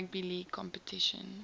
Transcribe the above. rugby league competition